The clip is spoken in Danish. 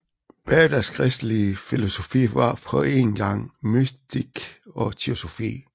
Baaders kristelige filosofi var på én gang mystik og teosofi